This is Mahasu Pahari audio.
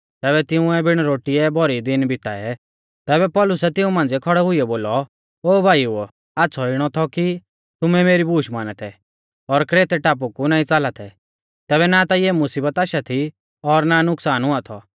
ज़ैबै तिंउऐ बिण रोटीऐ भौरी दीन बिताऐ तैबै पौलुसै तिऊं मांझ़िऐ खौड़ै हुइयौ बोलौ ओ भाईओ आच़्छ़ौ इणौ थौ कि तुमै मेरी बूश माना थै और क्रेतै टापु कु नाईं च़ाला थै तैबै ना ता इऐ मुसीबत आशा थी और ना नुकसान हुआ थौ